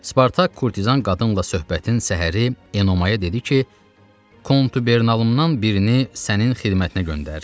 Spartak Kurtizan qadınla söhbətin səhəri Enomaya dedi ki, kontubernalımdan birini sənin xidmətinə göndərirəm.